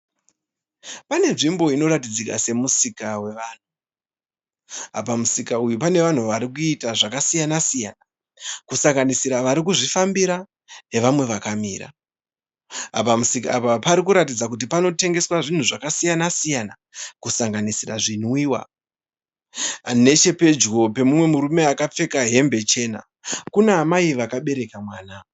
Pane nzvimbo inoratidzika semusika wevanhu, pamusika uyu pane vanhu varikuita zvakasiyana siyana kusanganisira vari kuzvifambira nevamwe vakamira. Pamusika apa pari kuratidza kuti pari kutengeswa zvinhu zvakasiyana siyana kusanganisira zvinwiwa, nechepedyo pemumwe murume akapfeka hembe chena kuna amai vakabereka mwana.